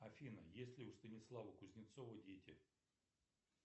афина есть ли у станислава кузнецова дети